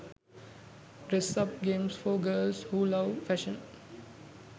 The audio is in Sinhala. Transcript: dress up games for girls who love fashion